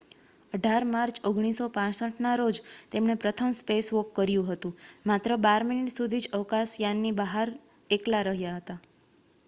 "18 March 1965ના રોજ તેમણે પ્રથમ "સ્પેસવોક" કર્યું હતું. માત્ર બાર મિનિટ સુધી જ અવકાશયાનની બહાર એકલા રહ્યા.